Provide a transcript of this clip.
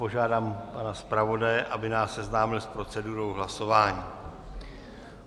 Požádám pana zpravodaje, aby nás seznámil s procedurou hlasování.